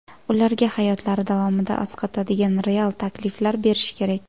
Ularga hayotlari davomida asqatadigan real takliflar berish kerak.